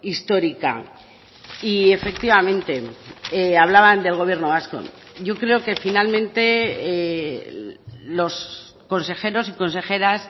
histórica y efectivamente hablaban del gobierno vasco yo creo que finalmente los consejeros y consejeras